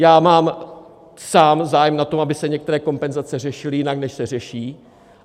Já mám sám zájem na tom, aby se některé kompenzace řešily jinak, než se řeší.